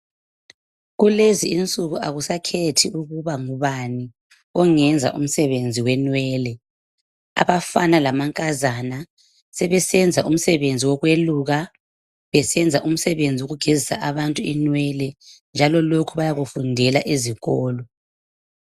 kulezinsuku akusakhethi ukuba ngubani ongenza umsebenzi wenwele abafana lamankazana sebesenza umsebenzi wokweluka besenza umsebenzi wokugezisa abantu inwele njalo lokhu byakufundela ezikolo